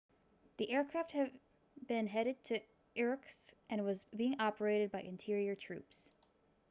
the aircraft had been headed to irkutsk and was being operated by interior troops